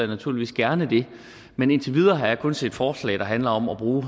naturligvis gerne men indtil videre har jeg kun set forslag der handler om at bruge